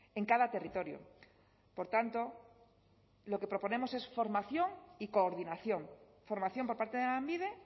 en cada territorio por tanto lo que proponemos es formación y coordinación formación por parte de lanbide